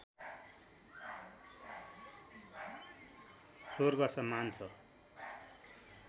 स्वर्गसमान छ